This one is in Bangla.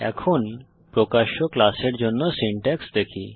এখন প্রকাশ্য ক্লাসের জন্য সিনট্যাক্স দেখি